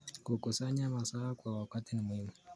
Kukusanya mazao kwa wakati ni muhimu.